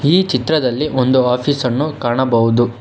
ಈ ಚಿತ್ರದಲ್ಲಿ ಒಂದು ಆಫೀಸ್ ಅನ್ನು ಕಾಣಬಹುದು.